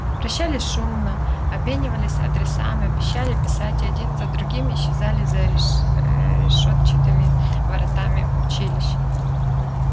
прощались шумно обменивались адресами обещали писать и один за другим исчезали за решетчатыми воротами училища